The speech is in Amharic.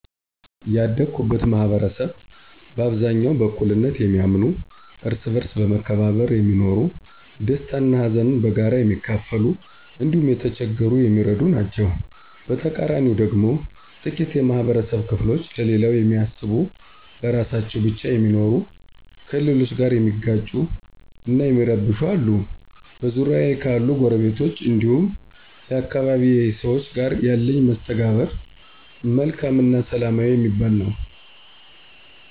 ያደኩበት ማህበረሰብ በአብዛኛው በእኩልነት የሚያምኑ፣ እርስ በእርስ በመከባበር የሚኖሩ፣ ደስታን እና ሀዘንን በጋራ የሚካፈሉ እንዲሁም የተቸገረን የሚረዱ ናቸዉ። በተቃራኒው ደግሞ ጥቂት የማህበረብ ክፍሎች ለሌላው የሚያስቡ ለራሳቸው ብቻ የሚኖሩ፣ ከሌሎች ጋር የሚጋጩ እና የሚረብሹ አሉ። በዙሪያዬ ካሉ ጐረቤቶች እንዲሁም የአካባቢዬ ሰዎች ጋር ያለኝ መስተጋብር መልካም እና ሰላማዊ የሚባል ነው።